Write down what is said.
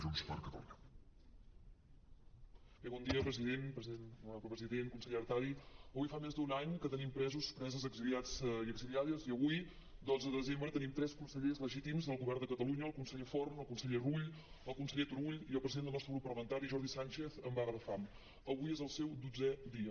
honorable president consellera artadi avui fa més d’un any que tenim presos preses exiliats i exiliades i avui dotze desembre tenim tres consellers legítims del govern de catalunya el conseller forn el conseller rull el conseller turull i el president del nostre grup parlamentari jordi sànchez en vaga de fam avui és el seu dotzè dia